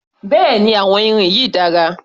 Bẹ́ẹ̀ni àwọn irin yìí dára